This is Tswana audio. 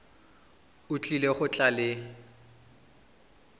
o tlile go tla le